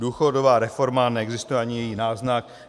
Důchodová reforma, neexistuje ani její náznak.